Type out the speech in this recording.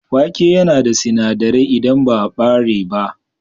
Wake yana da sinadirai idan ba ɓare ba.